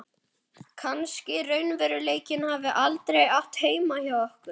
Kannski raunveruleikinn hafi aldrei átt heima hjá okkur.